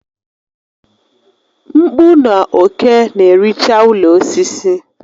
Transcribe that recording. Mkpụ na òké na-ericha ụlọ osisi